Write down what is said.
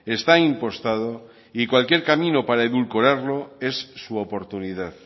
está impostado y cualquier camino para edulcorarlo es su oportunidad